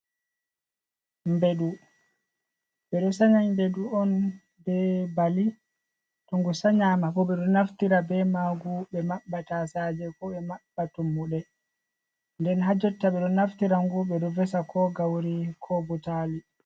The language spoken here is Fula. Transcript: Ɓedu ɓe ɗo sanya ɓedu on be bali to ngu sanyama bo be ɗo naftira be magu ɓe mabba tasaje ko ɓe mabba tummuɗe nden ha jotta ɓe ɗo naftira ngu ɓe ɗo vesa ko gawri ko butali.